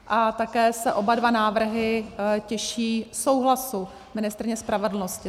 A také se oba dva návrhy těší souhlasu ministryně spravedlnosti.